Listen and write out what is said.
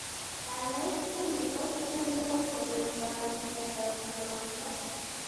Kanyoiset nyi kotiegei ng'oindop miondop soromyet